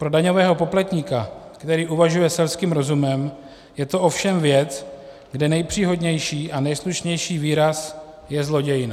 Pro daňového poplatníka, který uvažuje selským rozumem, je to ovšem věc, kde nejpříhodnější a nejslušnější výraz je zlodějna.